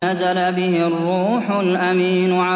نَزَلَ بِهِ الرُّوحُ الْأَمِينُ